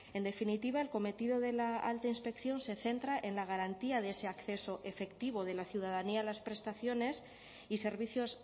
en definitiva el cometido de la alta inspección se centra en la garantía de ese acceso efectivo de la ciudadanía a las prestaciones y servicios